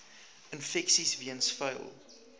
infeksies weens vuil